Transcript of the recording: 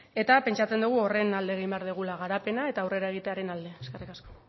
eta pentsatzen dugu horren alde egin behar dugula garapena eta aurrera egitearen alde eskerrik asko